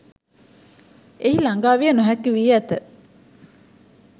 එහි ළගාවිය නොහැකි වී ඇත.